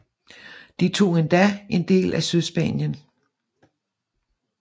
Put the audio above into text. De tog endda en del af Sydspanien